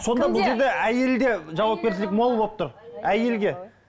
сонда бұл жерде әйелде жауапкершілік мол болып тұр әйелде